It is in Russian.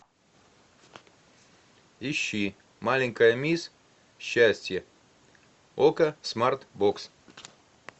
ищи маленькая мисс счастье окко смарт бокс